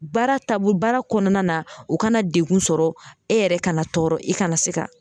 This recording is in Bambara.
Baara taabo, baara kɔnɔna na o kana degun sɔrɔ e yɛrɛ kana tɔɔrɔ i kana se ka